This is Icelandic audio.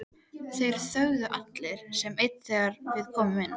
Þeir þögnuðu allir sem einn þegar við komum inn.